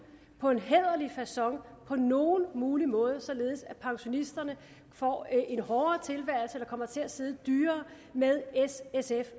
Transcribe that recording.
på en hæderlig facon på nogen mulig måde således at pensionisterne får en hårdere tilværelse eller kommer til at sidde dyrere med s sfs